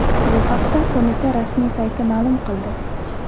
Bu haqda qo‘mita rasmiy sayti ma’lum qildi .